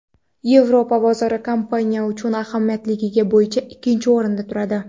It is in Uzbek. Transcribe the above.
Yevropa bozori kompaniya uchun ahamiyatliligi bo‘yicha ikkinchi o‘rinda turadi.